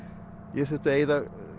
ég þurfti að eyða